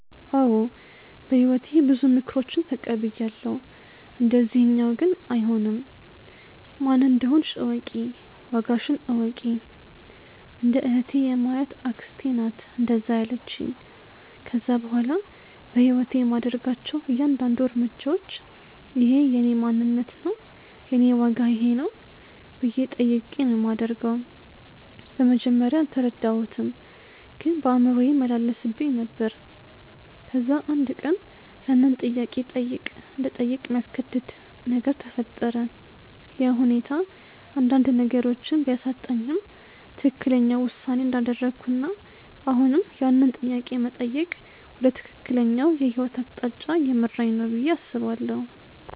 አዎ በህይወቴ ብዙ ምክሮችን ተቀብያለው፣ እንደዚኛው ግን አይሆንም። "ማን እንደሆንሽ እወቂ፣ ዋጋሽን እወቂ"። እንደ እህቴ የማያት አክስቴ ናት እንደዛ ያለቺኝ። ከዛ በኋላ በህይወቴ የማደርጋቸው እያንዳድንዱ እርምጃዎች" እኼ የእኔ ማንነት ነው? የኔ ዋጋ ይኼ ነው?" ብዬ ጠይቄ ነው ማደርገው። በመጀመርያ አልተረዳሁትም ግን በአእምሮዬ ይመላለስብኝ ነበር። ከዛ አንድ ቀን ያንን ጥያቄ እንድጠይቅ የሚያስገድድ ነገር ተፈጠረ፤ ያ ሁኔታ አንዳንድ ነገሮችን ቢያሳጣኝም ትክክለኛው ውሳኔ እንዳደረኩና አሁንም ያንን ጥያቄ መጠየቅ ወደ ትክክለኛው የህይወት አቅጣጫ እየመራኝ ነው ብዬ አስባለው።